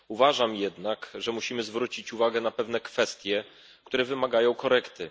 Myślę jednak, że musimy zwrócić uwagę na pewne kwestie, które wymagają korekty.